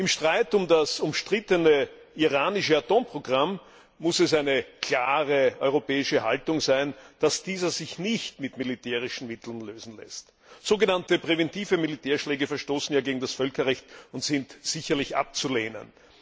Im Streit um das umstrittene iranische Atomprogramm muss es eine klare europäische Haltung sein, dass dieser sich nicht mit militärischen Mitteln lösen lässt. Sogenannte präventive Militärschläge verstoßen ja gegen das Völkerrecht und sind sicherlich abzulehnen.